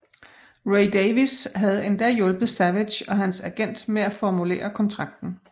Ray Davies havde endda hjulpet Savage og hans agent med at formulere kontrakten